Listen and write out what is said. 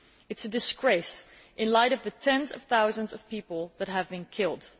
It is a disgrace in light of the tens of thousands of people that have been killed.